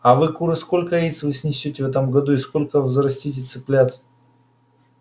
а вы куры сколько яиц вы снесёте в этом году и сколько взрастите цыплят